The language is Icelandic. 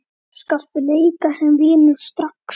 Slakur leikur sem vinnur strax!